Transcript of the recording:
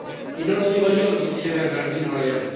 Y no lo digo yo, lo dice Bernardino León.